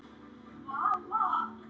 Því gat ég alltaf treyst.